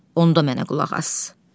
Onda mənə qulaq as.